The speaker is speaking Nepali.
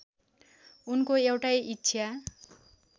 उनको एउटै इच्छा